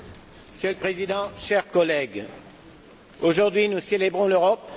Monsieur le Président, chers collègues, aujourd'hui, nous célébrons l'Europe.